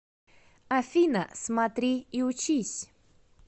афина смотри и учись